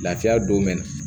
Lafiya don mɛ nin